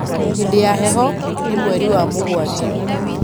hĩndĩ ya heho nĩ mweri wa mũgwanja